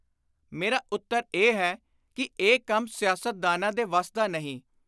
ਮੇਰਾ ਉੱਤਰ ਇਹ ਹੈ ਕਿ ਇਹ ਕੰਮ ਸਿਆਸਤਦਾਨਾਂ ਦੇ ਵੱਸ ਦਾ ਨਹੀਂ।